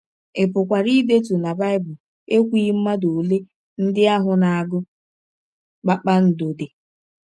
Ị pụkwara ịdetụ na Bible ekwughị mmadụ ole ndị ahụ na - agụ kpakpando dị.